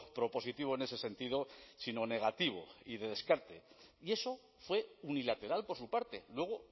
propositivo en ese sentido sino negativo y de descarte y eso fue unilateral por su parte luego